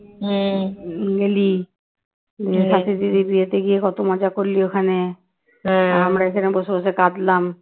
সাথী দিদির বিয়েতে গিয়ে কত মজা করলি ওখানে আমরা এখানে বসে বসে কাঁদলাম।